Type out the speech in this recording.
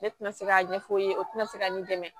Ne tɛna se k'a ɲɛf'u ye o tina se ka ne dɛmɛ